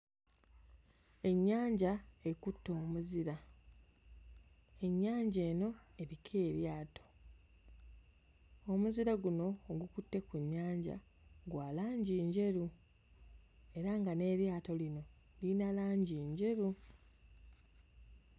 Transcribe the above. Ennyanja ekutte omuzira, ennyanja eno eriko eryato. Omuzira guno ogukutte ku nnyanja gwa langi njeru era nga n'eryato lino lirina langi njeru.